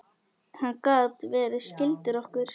Hann gat verið skyldur okkur.